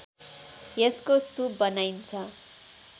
यसको सुप बनाइन्छ